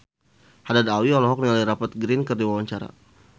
Haddad Alwi olohok ningali Rupert Grin keur diwawancara